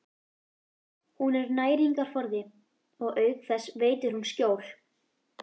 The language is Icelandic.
Hún er næringarforði og auk þess veitir hún skjól.